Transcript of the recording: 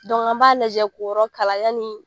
an b'a lajɛ ko yɔrɔ kala yani.